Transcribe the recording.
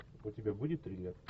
у тебя будет триллер